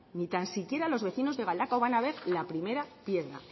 ni tan siquiera los vecinos de galdakao van a ver la primera piedra